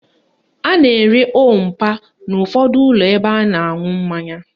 A na-ere òó mpa n' ụfọdụ ụlọ ebe a na-aṅụ mmanya